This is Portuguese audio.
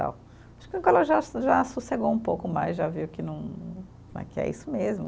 Acho que já so, já sossegou um pouco mais, já viu que não, né que é isso mesmo.